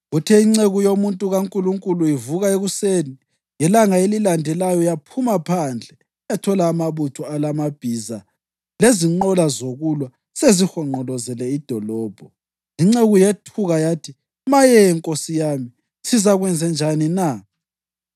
Kuthe inceku yomuntu kaNkulunkulu ivuka ekuseni ngelanga elilandelayo yaphuma phandle yathola amabutho alamabhiza lezinqola zokulwa sezihonqolozele idolobho. Inceku yethuka yathi, “Maye, nkosi yami, sizakwenzenjani na?”